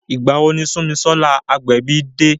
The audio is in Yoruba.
Ìgbà wo ni Sunmisola Agbebi de?